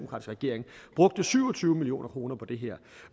regering brugte syv og tyve million kroner på det her